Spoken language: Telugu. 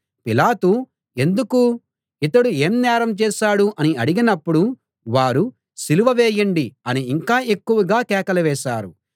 పిలాతు ఎందుకు ఇతడు ఏం నేరం చేశాడు అని అడిగినప్పుడు వారు సిలువ వేయండి అని ఇంకా ఎక్కువగా కేకలు వేశారు